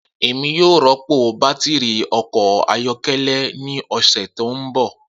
Emi yoo rọpo batiri ọkọ ayọkẹlẹ ni ọsẹ to nbọ